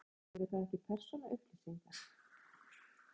Sólveig: Eru það ekki persónuupplýsingar?